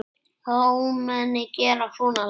Hvaða ómenni gera svona lagað?